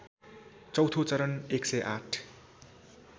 चौथो चरण १०८